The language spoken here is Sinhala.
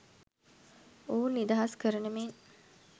ඔවුන් නිදහස් කරන මෙන්